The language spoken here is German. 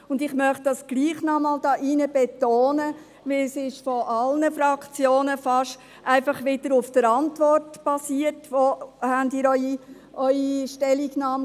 Das möchte ich hier doch noch einmal betonen, denn beinahe alle Fraktionen haben ihre Stellungnahme einfach wieder basierend auf der Antwort abgegeben.